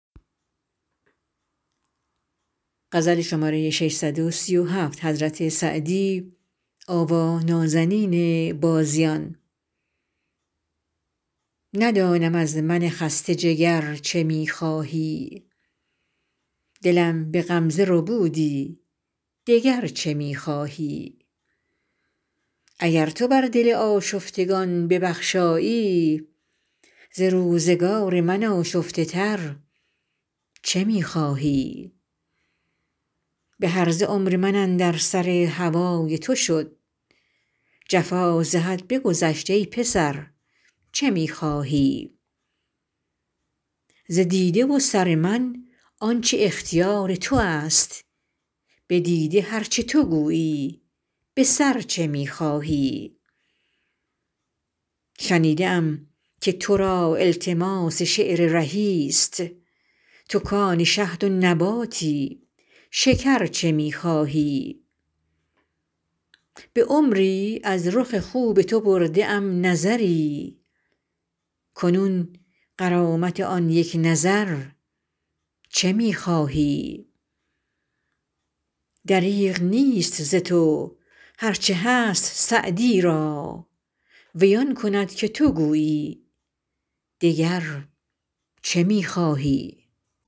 ندانم از من خسته جگر چه می خواهی دلم به غمزه ربودی دگر چه می خواهی اگر تو بر دل آشفتگان ببخشایی ز روزگار من آشفته تر چه می خواهی به هرزه عمر من اندر سر هوای تو شد جفا ز حد بگذشت ای پسر چه می خواهی ز دیده و سر من آن چه اختیار تو است به دیده هر چه تو گویی به سر چه می خواهی شنیده ام که تو را التماس شعر رهی ست تو کآن شهد و نباتی شکر چه می خواهی به عمری از رخ خوب تو برده ام نظری کنون غرامت آن یک نظر چه می خواهی دریغ نیست ز تو هر چه هست سعدی را وی آن کند که تو گویی دگر چه می خواهی